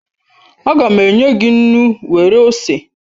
Aga m enye gị nnu nwere ose